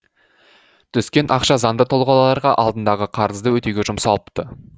түскен ақша заңды тұлғаларға алдындағы қарызды өтеуге жұмсалыпты